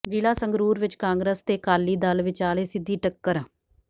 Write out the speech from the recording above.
ਜ਼ਿਲ੍ਹਾ ਸੰਗਰੂਰ ਵਿੱਚ ਕਾਂਗਰਸ ਤੇ ਅਕਾਲੀ ਦਲ ਵਿਚਾਲੇ ਸਿੱਧੀ ਟੱਕਰ